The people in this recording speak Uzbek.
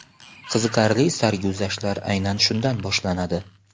Qiziqarli sarguzashtlar aynan shundan boshlanadi.